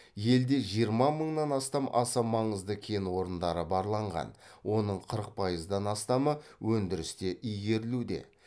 елде жиырма мыңнан астам аса маңызды кен орындары барланған оның қырық пайыздан астамы өндірісте игерілуде